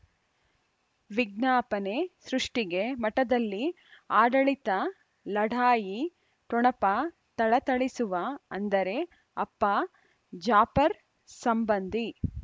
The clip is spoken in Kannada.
ವಿಜ್ಞಾಪನೆ ಸೃಷ್ಟಿಗೆ ಮಠದಲ್ಲಿ ಆಡಳಿತ ಲಢಾಯಿ ಠೊಣಪ ಥಳಥಳಿಸುವ ಅಂದರೆ ಅಪ್ಪ ಜಾಫರ್ ಸಂಬಂಧಿ